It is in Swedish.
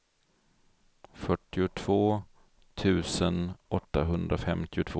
fyrtiotvå tusen åttahundrafemtiotvå